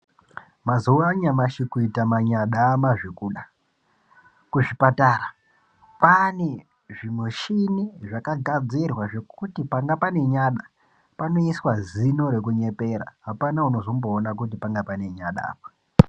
Mazuwaanyamashi kuita manyada amazvokuda kuzvipatara kwaane zvimuchini zvakagadzirwa zvekuti panga pane nyada panoiswa zino rekunyepera apana unozomboona kuti panga pane nyada apa.